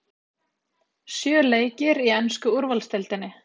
Sjö leikir í ensku úrvalsdeildinni